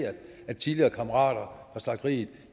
at tidligere kammerater fra slagteriet